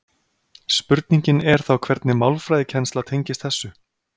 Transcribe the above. Spurningin er þá hvernig málfræðikennsla tengist þessu.